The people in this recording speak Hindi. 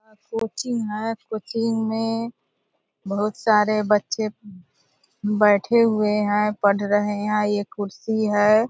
यहाँ कोचिंग है कोचिंग में बहुत सारे बच्चें बैठें हुए हैं पढ़ रहे हैं एक कुर्सी है ।